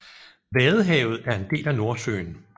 Vadehavet er en del af Nordsøen